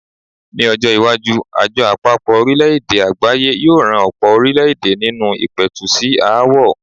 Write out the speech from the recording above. Ní ọjọ́-iwájú, Àjọ Àpapọ̀-orílẹ̀-èdè Àgbáyé yóò ran ọ̀pọ̀ orílẹ̀-èdè nínú ìpẹ̀tù sí aáwọ̀.